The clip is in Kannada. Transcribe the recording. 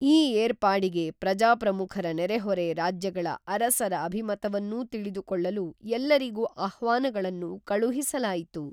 ಈ ಏರ್ಪಾಡಿಗೆ ಪ್ರಜಾಪ್ರಮುಖರ ನೆರೆಹೊರೆ ರಾಜ್ಯಗಳ ಅರಸರ ಅಭಿಮತವನ್ನೂ ತಿಳಿದುಕೊಳ್ಳಲು ಎಲ್ಲರಿಗೂಆಹ್ವಾನಗಳನ್ನು ಕಳುಹಿಸಲಾಯಿತು